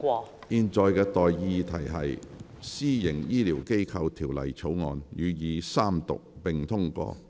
我現在向各位提出的待議議題是：《私營醫療機構條例草案》予以三讀並通過。